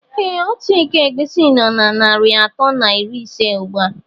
Ee Ọtu ịkọ egwusi nó na narị atọ na iri ise ugbua.